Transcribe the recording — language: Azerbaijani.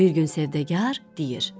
Bir gün sövdəgar deyir: